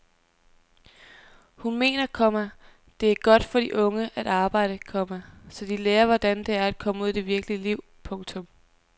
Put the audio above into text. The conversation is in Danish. Hun mener, komma det er godt for de unge at arbejde, komma så de lærer hvordan det er at komme ud i det virkelige liv. punktum